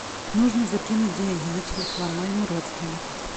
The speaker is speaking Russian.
нужно закинуть деньги на телефон моему родственнику